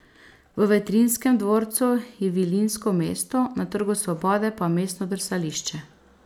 V Vetrinjskem dvorcu je Vilinsko mesto, na Trgu svobode pa mestno drsališče.